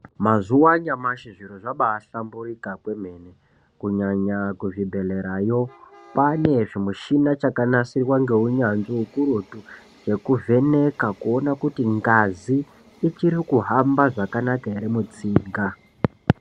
Mazuwa anyamashi zviro zvambaahlamburika kwemene kunyanya kuzvibhedhlerayo kwaanezvimichina zvakagadzirwa ngeunyanzvi ukurutu zvekuvheneka kuona kuti ngazi ichiri kuhamba zvakanaka ere mutsinga.